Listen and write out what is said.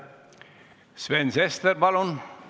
Sven Sester, palun!